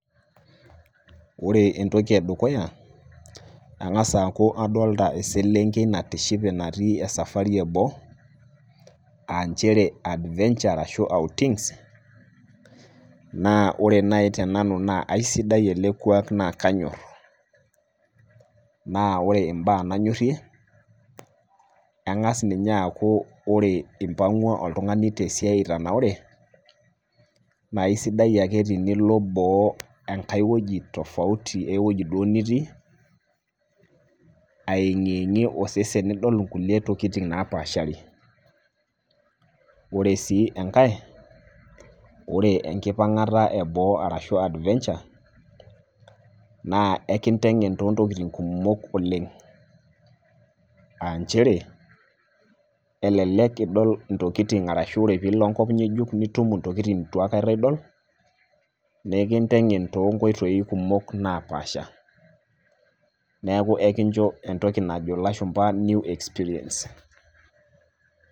Ore entoki e dukuya angass aaku adolita eselenkei natishipe natii safari e boo aa nchere adventure arashu outings . Naa ore naaji te nanu naa aisidai ele kuak naa kainyor . Naa ore imbaa nanyorie naa engas ninye aaku eipang'ua oltung'ani te siai etanaure, naa aisidai ake nilo boo ashu enkai wueji tofauti nemee ewueji duo nitiia eng'ieng'ie osesen too kulie tokitin napaashar. Ore sii enkai, ore wnkipangata e boo arashu adventure naa ekintengen too intokitin kumok oleng'. Aa nchere elelek idol intokitin arashu ilo enkai kop ng'ejuk nitum intokitin neitu aikata idol nekintengen too inkoitoi kumok napaasha. Neaku kincho entoki najo ilashumba new experience.